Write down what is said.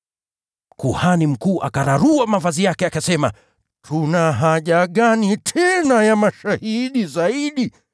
Kuhani mkuu akararua mavazi yake, akasema, “Tuna haja gani tena ya mashahidi zaidi?